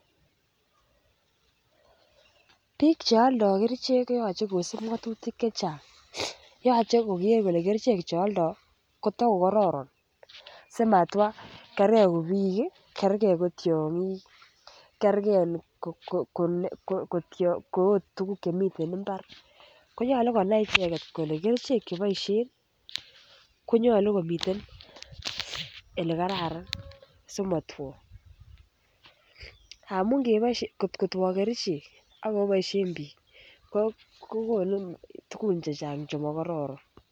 Bik chealda kerichek koyache ko kosib ng'atutik chechang yache koker kole kerichek chealdo kotokor kararan, simatwa kerke ko bik ih, kerke ko tiang'ik ih kerge ko agot tuguk chemiten imbar koyache konai icheket kole kerichek cheboisien ih , konyalu kimiten olekararan simatwo, amun kot ko two kerichek akiboisien bik kokonu tugun chechang chema kororon